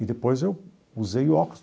E depois eu usei óculos.